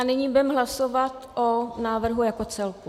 A nyní budeme hlasovat o návrhu jako celku.